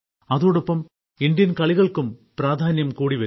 അതോടൊപ്പം ഇന്ത്യൻ കളികൾക്കും പ്രാധാന്യം കൂടിവരുന്നു